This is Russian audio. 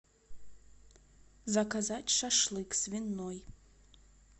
заказать шашлык свиной